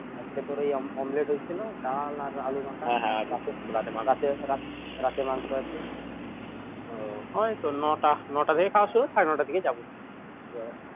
আজকে তোর ওই omelette হয়েছিল ডাল আর আলু মাখা রাতে মাংস আছে ওইতো নটা নটা থেকে খাওয়া শুরু সাড়ে নটা থেকে যাবো